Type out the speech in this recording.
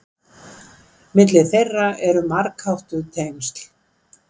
Milli þeirra eru margháttuð tengsl.